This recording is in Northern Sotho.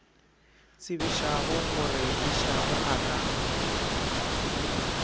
tsebišago gore išago a ka